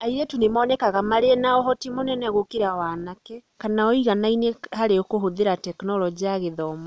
Airĩtu nĩ monekaga marĩ na ũhoti mũnene gũkĩra wa anake kana ũiganaine harĩ kũhũthĩra Tekinoronjĩ ya Gĩthomo.